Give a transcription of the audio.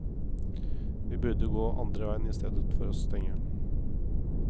Vi burde gå andre veien istedenfor å stenge.